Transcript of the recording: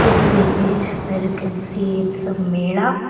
this is the image by we can see it some mela.